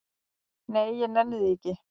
"""Nei, ég nenni því ekki"""